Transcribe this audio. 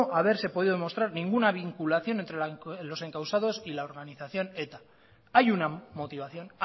haberse podido demostrar ninguna vinculación entre los encausados y la organización eta hay una motivación